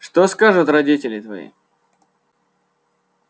что скажут родители твои